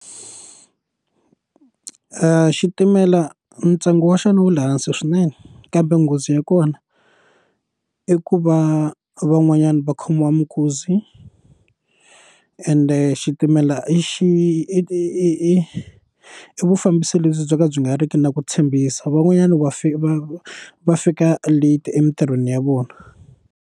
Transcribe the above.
xitimela ntsengo wa xona wu le hansi swinene kambe nghozi ya kona i ku va van'wanyani va khomiwa mikuzi ende xitimela i xi i vufambisi lebyi byo ka byi nga ri ki na ku tshembisa van'wanyani va fika va va fika late emitirhweni ya vona.